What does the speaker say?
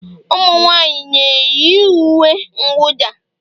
Ụmụnwaanyị na-eyi uwe mwụda?